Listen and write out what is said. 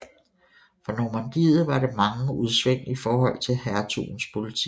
For Normandiet var der mange udsving i forhold til hertugens politik